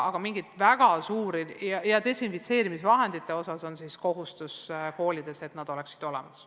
Ka desinfitseerimisvahendite osas on koolidel kohustus tagada nende olemasolu.